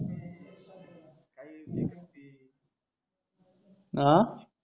आह